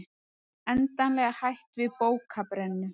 Endanlega hætt við bókabrennu